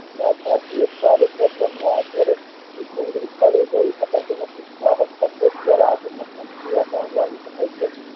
જઈ શકાતું નથી નિરાકરણ લાવી શકાય છે